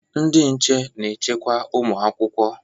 Ndị nche na-echekwa ụmụ akwụkwọ.